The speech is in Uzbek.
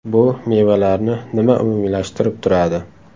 Bu mevalarni nima umumiylashtirib turadi?